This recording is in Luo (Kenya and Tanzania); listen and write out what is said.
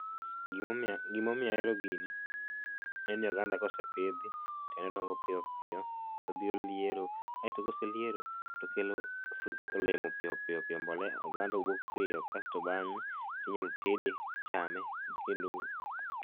Gimo omiyo, gimo omiyo ahero gini en ni oganda kosepidhi en ni odongo piyo piyo todhi oliero, aito koseliero tokelo olemo piyo piyo piyo, mbolea, oganda wuok piyo kasto bang'e tinyal tede tichame kendo